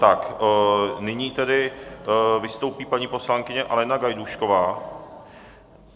Tak nyní tedy vystoupí paní poslankyně Alena Gajdůšková.